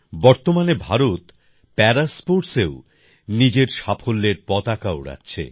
বর্তমানে ভারত প্যারা স্পোর্টসেও নিজের সাফল্যের পতাকা ওড়াচ্ছে